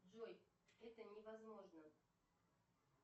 джой это невозможно